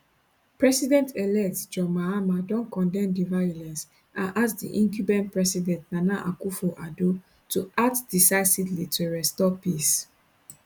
presidentelect john mahama don condemn di violence and ask di incumbent president nana akufo addo to act decisively to restore peace